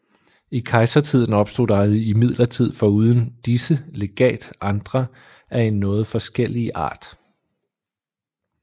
I kejsertiden opstod der imidlertid foruden disse legat andre af en noget forskellige art